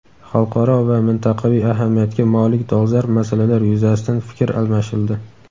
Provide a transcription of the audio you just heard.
Xalqaro va mintaqaviy ahamiyatga molik dolzarb masalalar yuzasidan fikr almashildi.